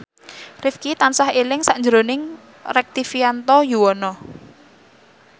Rifqi tansah eling sakjroning Rektivianto Yoewono